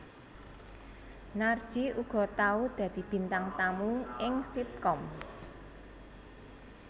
Narji uga tau dadi bintang tamu ing sitkom